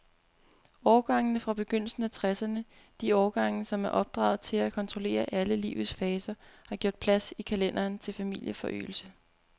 Årgangene fra begyndelsen af tresserne, de årgange, som er opdraget til at kontrollere alle livets faser, har gjort plads i kalenderen til familieforøgelse.